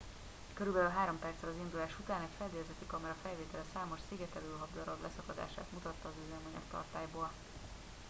körülbelül 3 perccel az indulás után egy fedélzeti kamera felvétele számos szigetelőhab darab leszakadását mutatta az üzemanyagtartályból